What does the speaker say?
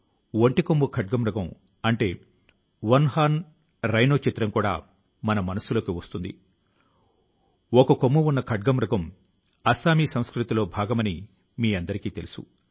గోవా లో పోర్చుగీసు హయాం ఉన్న కాలం లో అక్కడి నుంచి వలస వచ్చిన వారు ఇతర రాష్ట్రాల ప్రజలకు ఈ అద్భుతమైన చిత్రకళ ను పరిచయం చేశారు